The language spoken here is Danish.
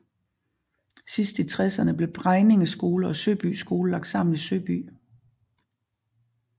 Sidst i tresserne blev Bregninge Skole og Søby Skole lagt sammen i Søby